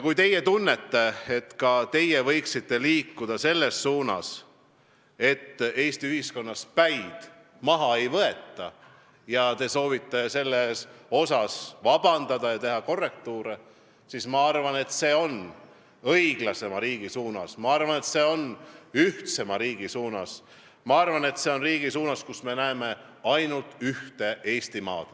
Kui teie tunnete, et ka teie võiksite liikuda selles suunas, et Eesti ühiskonnas päid maha ei võeta, ja te soovite selles asjas vabandust paluda ja teha korrektiive, siis ma arvan, et see on liikumine õiglasema riigi suunas, ma arvan, see on liikumine ühtsema riigi suunas, ma arvan, see on liikumine riigi suunas, kus me näeme ainult ühte Eestimaad.